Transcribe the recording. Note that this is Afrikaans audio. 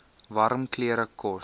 warm klere kos